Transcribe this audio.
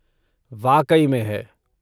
वाकई में है।